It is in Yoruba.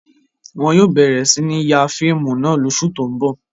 Wọn yóò bẹ̀rẹ̀ sí ní ya fíìmù náà lóṣù tó ń bọ̀.